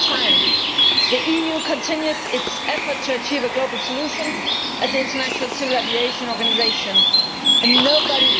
the same time, the EU continued its efforts to achieve a global solution at the International Civil Aviation Organisation Nobody